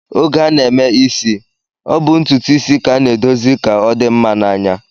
Oge a na-eme isi, ọ bụ ntụtụisi ka a na-edozi ka ọ dị mma n'anya